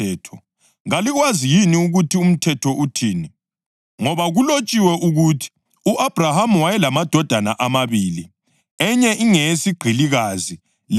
Ngoba kulotshiwe ukuthi u-Abhrahama wayelamadodana amabili, enye ingeyesigqilikazi lenye ingeyowesifazane okhululekileyo.